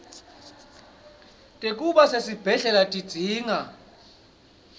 tekuba sesibhedlela tidzinga